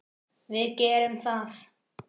Við gerðum það.